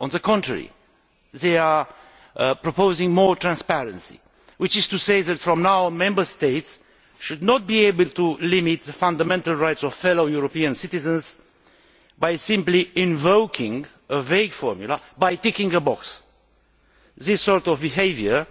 On the contrary, they propose more transparency, which is to say that from now on, Member States should not be able to limit the fundamental rights of fellow European citizens by simply invoking a vague formula by ticking a box. This sort of behaviour